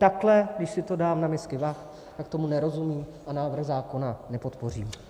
Takhle, když si to dám na misky vah, tak tomu nerozumím a návrh zákona nepodpořím.